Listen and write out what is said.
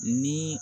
Ni